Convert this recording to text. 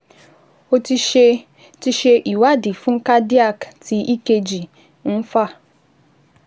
O ti ṣe ti ṣe ìwádìí fún cardiac tí EKG ń fà